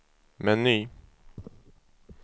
meny